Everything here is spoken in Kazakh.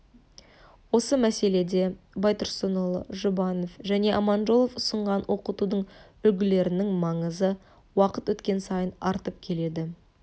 осы мәселеде байтұрсынұлы жұбанов және аманжолов ұстанған оқытудың үлгілерінің маңызы уақыт өткен сайын артып келеді